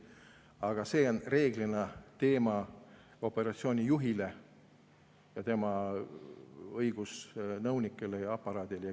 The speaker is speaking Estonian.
Aga see on reeglina operatsiooni juhi, tema õigusnõunike ja aparaadi teema.